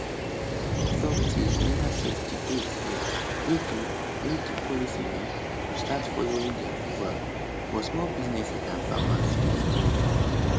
authorities neva set di date yet wey di wey di policy um go start following di approval but small businesses and farmers fit breathe